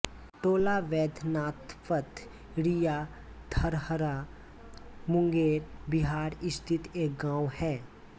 टोलाबैद्यनाथपठरिया धरहरा मुंगेर बिहार स्थित एक गाँव है